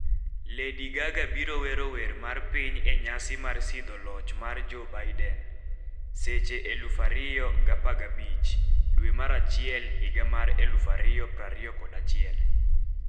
, Lady Gaga biro wero wer mar piny e nyasi mar sidho loch mar Joe Biden, Seche 2,0015 dwe mar achiel higa mar 2021 Winj,